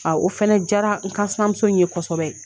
A o fɛnɛ diyara n kansinanmuso in ye kosɛbɛ.